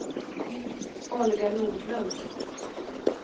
Olga Nordlund